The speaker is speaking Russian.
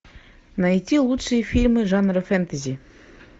найти лучшие фильмы жанра фэнтези